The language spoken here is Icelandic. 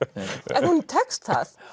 en honum tekst það